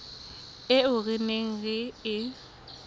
eo re neng re e